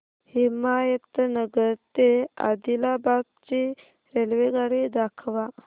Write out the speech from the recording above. हिमायतनगर ते आदिलाबाद ची रेल्वेगाडी दाखवा